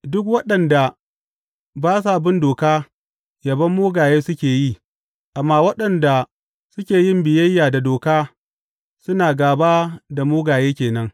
Duk waɗanda ba sa bin doka yabon mugaye suke yi, amma waɗanda suke yin biyayya da doka suna gāba da mugaye ke nan.